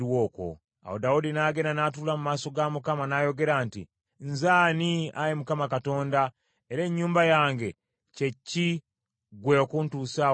Awo Kabaka Dawudi n’agenda n’atuula mu maaso ga Mukama n’ayogera nti, “Nze ani, Ayi Mukama Katonda, era ennyumba yange kye ki, gwe okuntuusa wano?